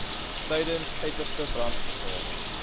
tydens uiterste brandgevaar